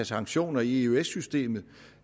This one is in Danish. sanktioner i eøs systemet